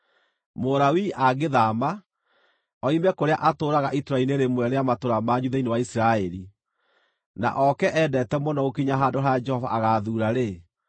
Mũlawii angĩthaama, oime kũrĩa atũũraga itũũra-inĩ rĩmwe rĩa matũũra manyu thĩinĩ wa Isiraeli, na oke endete mũno gũkinya handũ harĩa Jehova agaathuura-rĩ,